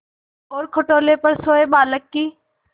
और खटोले पर सोए बालक की